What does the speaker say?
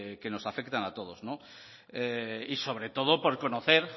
que nos afectan a todos y sobre todo por conocer